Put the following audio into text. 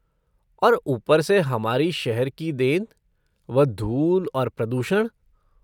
और ऊपर से हमारी शहर की देन, वह धूल और प्रदूषण।